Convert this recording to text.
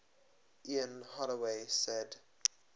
ian holloway said